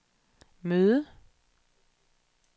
møde